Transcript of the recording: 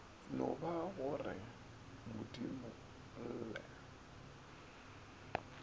no ba go re modimolle